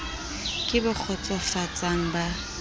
ke bo kgotso fatsang ba